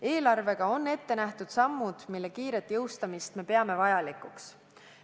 Eelarvega on ette nähtud sammud, mille kiiret heakskiitmist me peame vajalikuks.